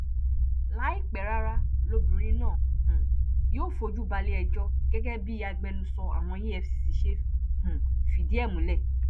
láìpẹ rárá lobìnrin náà um yóò fojú baléẹjọ́ gẹ́gẹ́ bí agbẹnusọ àwọn efcc ṣe um fìdí ẹ múlẹ̀